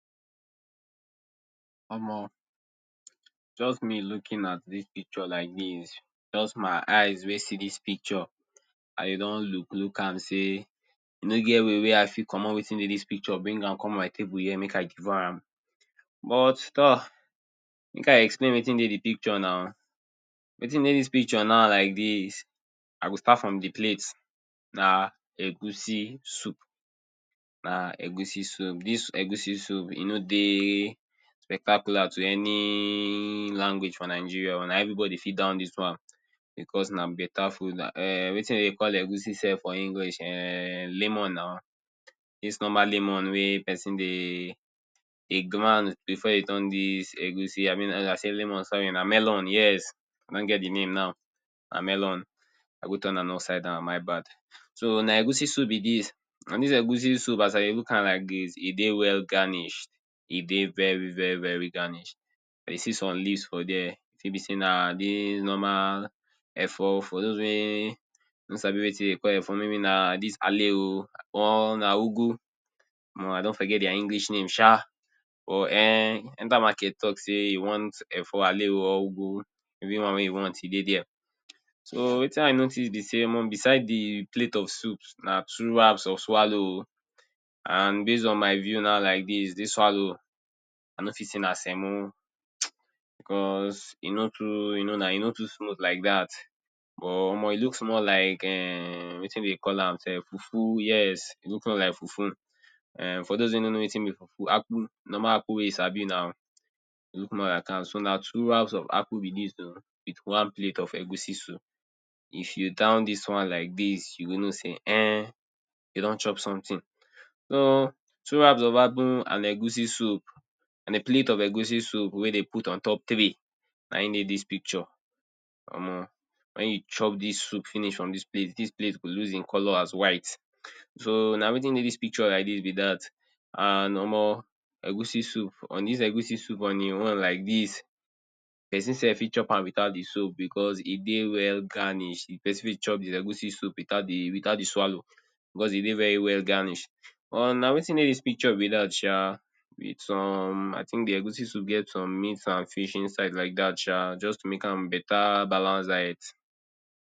Omo, just me looking at dis picture like dis. Just my eyes wey see dis picture, i don look look am say, e no get way wey i fit comot wetin dey dis picture, bring am come my table here, make i devour am? But torh! make i explain wetin dey the picture na. Wetin dey dis picture now like dis, I go start from the plate. Na egusi soup. Na egusi soup. Dis egusi soup, e no dey spectacular to any language for nigeria oh. Na everybody fit down dis one becos na better food. um Wetin de dey call egusi self for english um lemon na. Dis normal lemon wey pesin dey dey ground before e turn dis egusi abi na I say lemon sorry na melon. Yes, I don get the name now, na melon. I go turn am upside down, my bad. So, na egusi soup be dis. And dis egusi soup, as i dey look am like dis, e dey well garnish. E dey very very very garnished. i dey see some leaves for dere. E fit be sey na dis normal efo. For dos wey no sabi wetin de dey call efo, maybe na dis ale oh or na ugu. Omo, I don forget their English name sha. Or um enter market talk sey you want efo ale oh or ugu. Anyone wey you want, e dey dere. So, wetin i notice be sey, omo beside the the plate of soup, na two wraps of swallow oh. And base on my view now like dis, dis swallow I no fit say na semo [hiss] becos e no too, you know na, e no too smooth like dat. But omo, e look more like um wetin de dey call am self, fufu. Yes, e look, more like fufu. um For dos wey no know wetin be fufu, akpu. Normal akpu wey you sabi na. E look more lika am. So, na two wraps of akpu be dis oh with one plate of egusi soup. If you down dis one like dis, you go know sey um, you don chop something. So, two wraps of akpu and egusi soup and a plate of egusi soup wey dey put ontop tray. Na im dey dis picture. Omo, wen you chop dis soup finish from dis plate, dis plate go lose e color as white. So, na wetin dey dis picture like dis be dat. And, omo, egusi soup, on dis egusi soup on e own like dis, pesin self fit chop am without the soup becos e dey well garnish. If pesin fit chop dis egusi soup without the, without the swallow becos e dey very well ganish. Or na wetin dey dis picture be dat sha with some I think the egusi soup get some meat and fish inside like dat sha. Just to make am better balance diet